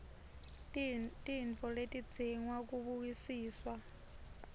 tintfo letidzinga kubukisiswa